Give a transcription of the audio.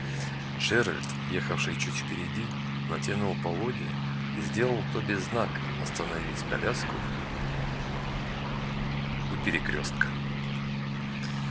джералд ехавший чуть впереди натянул поводья и сделал тоби знак остановить коляску у перекрёстка